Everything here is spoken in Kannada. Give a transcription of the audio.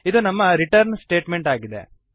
ಇದು ನಮ್ಮ ರಿಟರ್ನ್ ಸ್ಟೇಟಮೆಂಟ್ ಆಗಿದೆ